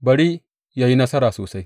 Bari yă yi nasara sosai!